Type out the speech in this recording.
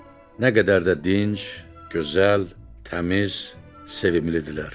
Nə qədər də dinc, gözəl, təmiz, sevimlidirlər.